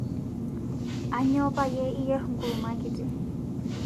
Aanyo payie iyier nkuruma kini